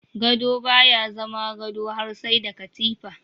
Gado baya zama gado har sai da katifa.